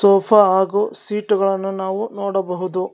Sofa ಹಾಗೂ ಸೀಟುಗಳನ್ನು ನಾವು ನೋಡಬಹುದು.